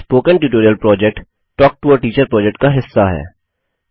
spoken tutorial project talk to a teacher project का हिस्सा है